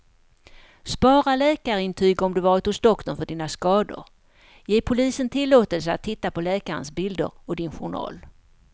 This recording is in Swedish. Spara läkarintyg om du varit hos doktorn för dina skador, ge polisen tillåtelse att titta på läkarens bilder och din journal.